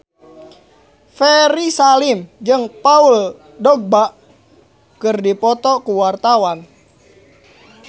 Ferry Salim jeung Paul Dogba keur dipoto ku wartawan